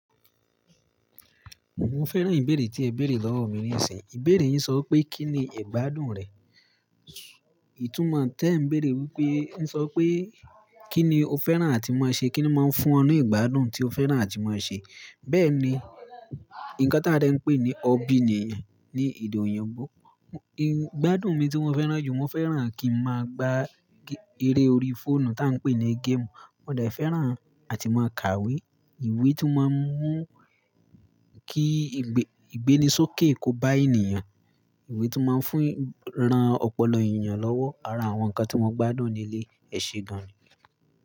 Mo fẹ́ràn ìbéèrè tí ẹ béèrè lọ́wọ́ mi nísìnyí. Ìbéèrè yín sọ pé kí ni ìgbádùn rẹ̀. Ìtúmọ̀ tẹ n béèrè wípé ń sọ pé kí ni o fẹ́ràn àti máa ṣe, kí ni máa ń fún ọ ní ìgbádùn tí o fẹ́ràn àti máa ṣe. Bẹ́ẹ̀ ni, nǹkan tí a de ń pè ní hobby niyen ni èdè oyinbo. Ìgbádùn mi tí mo fẹ́ràn jù, mo fẹ́ràn kí n máa gbá eré orí fóònù tí à ń pè ní game. Mo de fẹ́ràn àti máa kàwé. Ìwé tí máa ń mú kí ìgbénisókè kó bá ènìyàn. Ìwé tí máa ń fún ran ọpọlọ ènìyàn lọ́wọ́. Ara àwọn nǹkan tí mo gbádùn leléyi, ẹ ṣe gan.